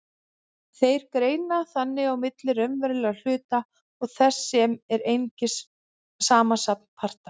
Þeir greina þannig á milli raunverulegra hluta og þess sem er einungis samansafn parta.